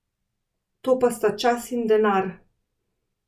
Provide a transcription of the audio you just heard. To pa sta čas in denar.